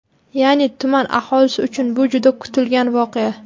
Ya’ni, tuman aholisi uchun bu juda kutilgan voqea!